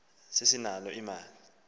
sase sisakha apho